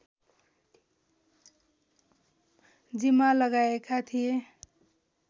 जिम्मा लगाएका थिए